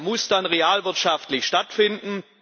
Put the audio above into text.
Er muss dann realwirtschaftlich stattfinden.